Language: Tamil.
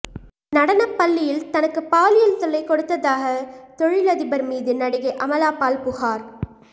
நடனப்பள்ளியில் தனக்கு பாலியல் தொல்லை கொடுத்ததாக தொழிலதிபர் மீது நடிகை அமலாபால் புகார்